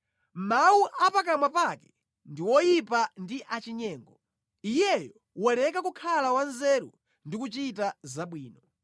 Mawu a pakamwa pake ndi oyipa ndi achinyengo; iyeyo waleka kukhala wanzeru ndi kuchita zabwino.